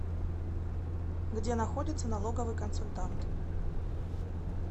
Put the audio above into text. где находится налоговый консультант